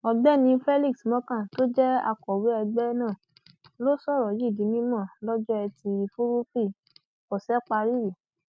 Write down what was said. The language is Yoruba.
ọgbẹni felix morka tó jẹ akọwé ẹgbẹ náà ló sọrọ yìí di mímọ lọjọ etí furuufee ọsẹ parí yìí